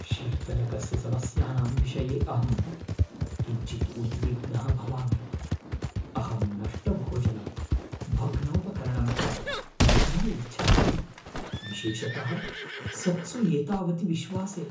शीतलकस्य समस्यानां विषये अहं किञ्चित् उद्विग्नः भवामि, अहं नष्टभोजनं भग्नोपकरणं च न इच्छामि, विशेषतः सत्सु एतावति विश्वासे।